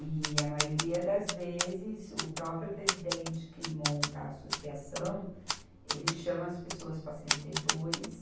E, a maioria das vezes, o próprio presidente que monta a associação, ele chama as pessoas para ser diretores.